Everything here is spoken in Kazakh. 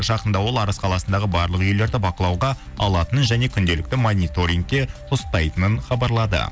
жақында ол арыс қаласындағы барлық үйлерді бақылауға алатынын және күнделікті мониторингте ұстайтынын хабарлады